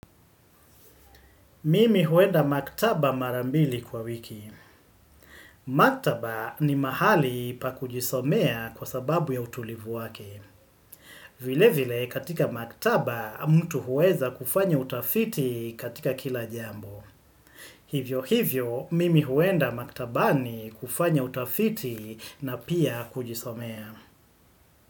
Mimi huenda maktaba mara mbili kwa wiki. Maktaba ni mahali pa kujisomea kwa sababu ya utulivu wake. Vile vile katika maktaba mtu huweza kufanya utafiti katika kila jambo. Hivyo hivyo, mimi huenda maktaba ni kufanya utafiti na pia kujisomea.